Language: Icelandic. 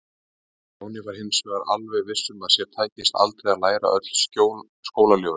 Stjáni var hins vegar alveg viss um að sér tækist aldrei að læra öll skólaljóðin.